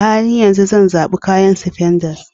A halin yanzu, zan zaɓi kayan spandex